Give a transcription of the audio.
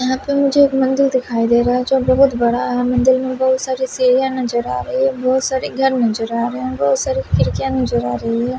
यहां पे मुझे एक मंदिर दिखाई दे रहा है जो बहुत बड़ा है मंदिल में बहुत सारी सीढ़ियां नजर आ रही है बहुत सारी घर नजर आ रहे हैं बहुत सारी खिरकियां नजर आ रही है।